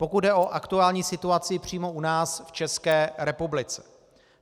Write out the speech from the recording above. Pokud jde o aktuální situaci přímo u nás v České republice.